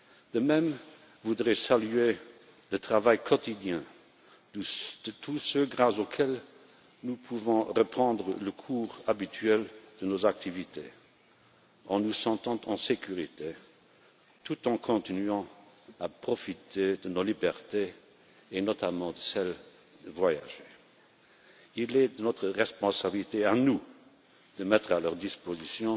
De même, je voudrais saluer le travail quotidien de tous ceux grâce à qui nous pouvons reprendre le cours habituel de nos activités en nous sentant en sécurité, tout en continuant à profiter de nos libertés et, notamment, de celle de voyager. Il est de notre responsabilité de mettre à leur disposition